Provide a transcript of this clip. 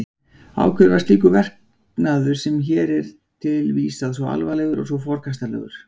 Af hverju var slíkur verknaður sem hér er vísað til svo alvarlegur og svo forkastanlegur?